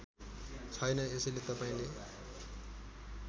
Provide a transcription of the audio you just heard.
छैन यसैले तपाईँले